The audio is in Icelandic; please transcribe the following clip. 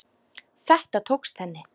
Þetta tókst henni.